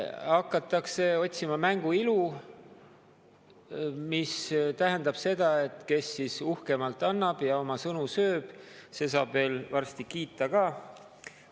Hakatakse otsima mängu ilu, mis tähendab seda, et kes uhkemalt annab ja oma sõnu sööb, see saab veel varsti kiita ka.